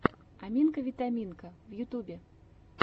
аминка витаминка в ютюбе